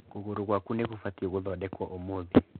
Kũgũrũ gwaku nĩ kũbatiĩ gũthondekwo ũmũthĩ.